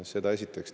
Seda esiteks.